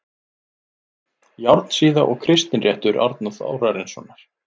Járnsíða og Kristinréttur Árna Þórarinssonar